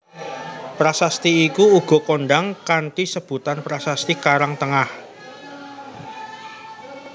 Prasasti iku uga kondhang kanthi sebutan prasasti Karangtengah